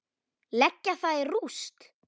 Leggja það í rúst!